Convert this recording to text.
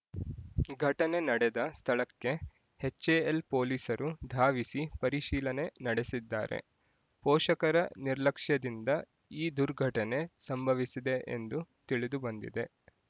ಘಟನೆ ನಡೆದ ಸ್ಥಳಕ್ಕೆ ಹೆಚ್‌ಎ‌ಎಲ್ ಪೊಲೀಸರು ಧಾವಿಸಿ ಪರಿಶೀಲನೆ ನಡೆಸಿದ್ದಾರೆ ಪೋಷಕರ ನಿರ್ಲಕ್ಷ್ಯದಿಂದ ಈ ದುರ್ಘಟನೆ ಸಂಭವಿಸಿದೆ ಎಂದು ತಿಳಿದುಬಂದಿದೆ